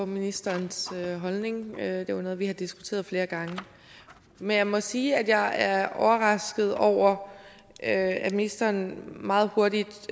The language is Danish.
ministerens holdning det er jo noget vi har diskuteret flere gange men jeg må sige at jeg er overrasket over at ministeren meget hurtigt